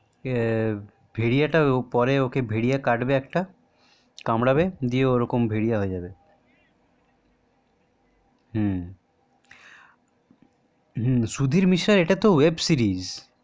এ ভেরিয়াটাতো পরে ওকে ভেরিয়া কাটবে একটা কামড়াবে দিয়ে ও একটা ভেরিয়া হয়ে যাবে হম হম সুধীর মিশ্রার এটাতো web series